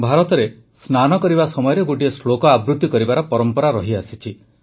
ଭାରତରେ ସ୍ନାନ କରିବା ସମୟରେ ଗୋଟିଏ ଶ୍ଳୋକ ଆବୃତ୍ତି କରିବାର ପରମ୍ପରା ରହିଆସିଛି